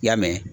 I y'a mɛn